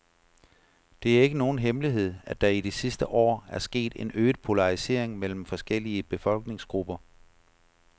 Det er ikke nogen hemmelighed, at der i de sidste år er sket en øget polarisering mellem forskellige befolkningsgrupper.